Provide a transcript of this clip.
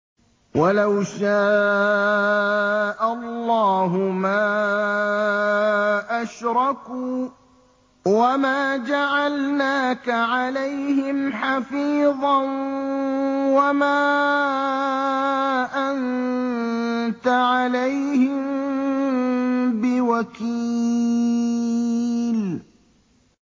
وَلَوْ شَاءَ اللَّهُ مَا أَشْرَكُوا ۗ وَمَا جَعَلْنَاكَ عَلَيْهِمْ حَفِيظًا ۖ وَمَا أَنتَ عَلَيْهِم بِوَكِيلٍ